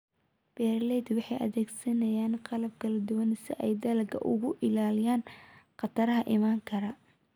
Beeraleydu waxay adeegsadaan qalab kala duwan si ay dalagga uga ilaaliyaan khataraha iman kara.